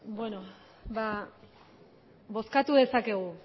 bozkatu dezakegu